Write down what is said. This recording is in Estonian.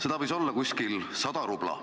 Seda võis olla umbes 100 rubla.